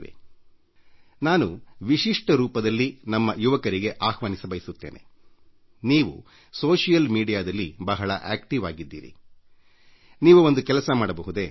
ನೀವೆಲ್ಲರೂ ಸಾಮಾಜಿಕ ತಾಣಗಳಲ್ಲಿ ಸಕ್ರಿಯರಾಗಿರುವ ಕಾರಣ ಅದರಲ್ಲೂ ನಮ್ಮ ಯುವಕರಿಗೆ ನಾನು ಮನವಿ ಮಾಡಲು ಬಯಸುವುದೇನೆಂದರೆ ನೀವು ಒಂದು ಕೆಲಸ ಮಾಡಬಹುದು